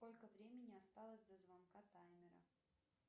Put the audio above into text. сколько времени осталось до звонка таймера